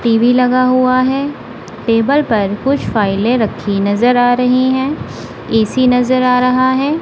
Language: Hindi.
टी_वी लगा हुआ है टेबल पर कुछ फाइलें रखी नजर आ रही हैं ए_सी नजर आ रहा है।